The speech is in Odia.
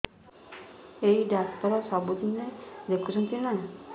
ଏଇ ଡ଼ାକ୍ତର ସବୁଦିନେ ଦେଖୁଛନ୍ତି ନା